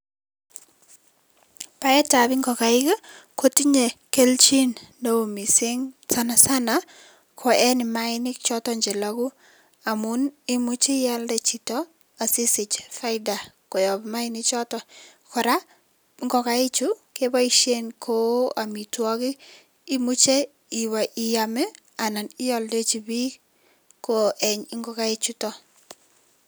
Baetab ngokaik kotinyei eneo mising, ko eng sana sana ko eng mayainik chelooku amun imuchei ialde chito sisich faida koyop mayainik chotok. Kora ngokaichu kepoishen kou amitwokik, imuchei iam anan ialdechi biik ko eng ngokaik chutok.